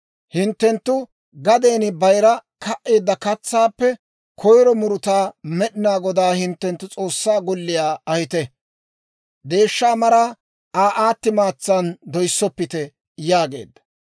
«Hinttenttu gaden bayira ka"eedda katsaappe koyro murutaa Med'inaa Godaa hinttenttu S'oossaa golliyaa ahite. «Deeshsha maraa Aa aati maatsan doyssoppite» yaageedda.